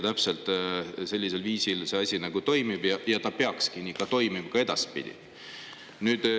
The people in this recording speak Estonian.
Täpselt sellisel viisil see asi toimib ja see peaks nii toimima edaspidigi.